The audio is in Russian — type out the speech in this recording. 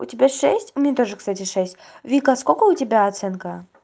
у тебя шесть мне тоже кстати шесть вика а сколько у тебя оценка